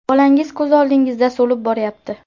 Bolangiz ko‘z oldingizda so‘lib boryapti.